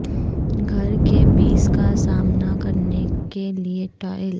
گھر کے بیس کا سامنا کرنے کے لئے ٹائل